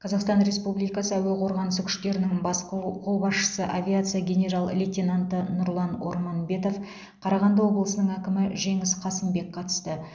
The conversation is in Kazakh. қазақстан республикасы әуе қорғанысы күштерінің бас қолбасшысы авиация генерал лейтенанты нұрлан орманбетов қарағанды облысының әкімі жеңіс қасымбек қатысты